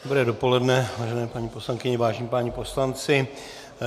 Dobré dopoledne, vážené paní poslankyně, vážení páni poslanci.